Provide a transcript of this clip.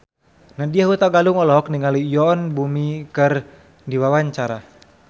Nadya Hutagalung olohok ningali Yoon Bomi keur diwawancara